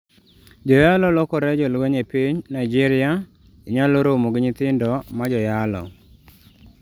Joyalo lokore jolweny e piny Nigeria, Inyalo romo gi nyithindo ma joyalo.